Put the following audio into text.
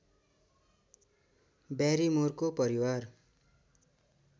ब्यारिमोरको परिवार